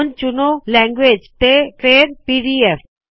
ਹੁਣ ਚੁਣੋ ਲੈਂਗੁਏਜ ਤੇ ਫੇਰ ਪੀਡੀਐਫ